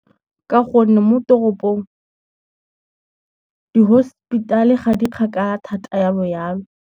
Ka gonne mo toropong di-hospital ga di kgakala thata jalo jalo.